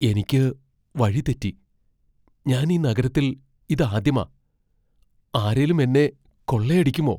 എനിക്ക് വഴി തെറ്റി. ഞാൻ ഈ നഗരത്തിൽ ഇതാദ്യമാ. ആരേലും എന്നെ കൊള്ളയടിക്കുമോ?